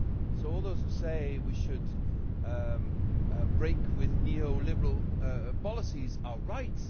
So all those who say we should break with neoliberal policies are right...